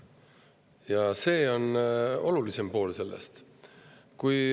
Ja see on selle olulisem pool.